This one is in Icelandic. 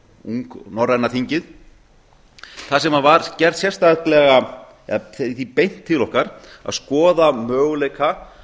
ung norræna þingið þar sem var gert sérstaklega eða því beint til okkar að skoða möguleika